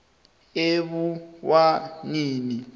ebuwaneni